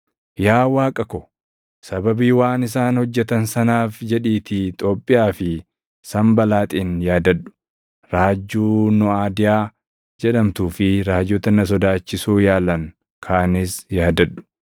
Yaa Waaqa ko, sababii waan isaan hojjetan sanaaf jedhiitii Xoobbiyaa fi Sanbalaaxin yaadadhu; raajjuu Nooʼadiyaa jedhamtuu fi raajota na sodaachisuu yaalan kaanis yaadadhu.